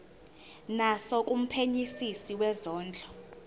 naso kumphenyisisi wezondlo